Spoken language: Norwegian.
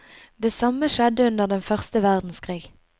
Det samme skjedde under den første verdenskrig.